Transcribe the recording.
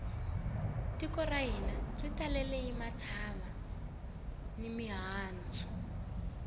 tiko ra hina ri talele hi matsava ni mihandzu